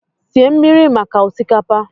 sie mmiri maka osikapa!